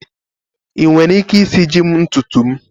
Ị nwere ike isiji m ntutu m?